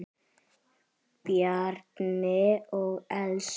Bjarni og Elsa.